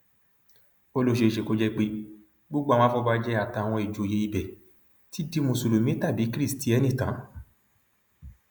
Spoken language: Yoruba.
ó ní ó ṣeé ṣe kó jẹ pé gbogbo àwọn afọbajẹ àtàwọn ìjòyè ibẹ ti di mùsùlùmí tàbí kristiẹni tán